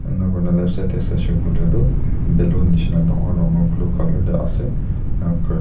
enika kurikae na left side tae saishey koilae tu ballon nishina dangor dangor blue colour tae ase enakurina--